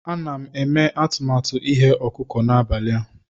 Ana m eme atụmatụ ighe ọkụkọ n'abalị a.